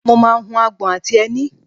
mo máà ń hu agbọ̀n àti ẹni